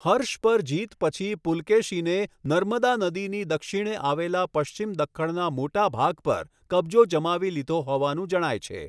હર્ષ પર જીત પછી પુલકેશીને નર્મદા નદીની દક્ષિણે આવેલા પશ્ચિમ દખ્ખણના મોટા ભાગ પર કબજો જમાવી લીધો હોવાનું જણાય છે.